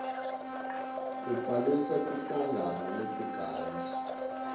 kubhalisa tinhlangano letingazuzi